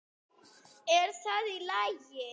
Er það í lagi?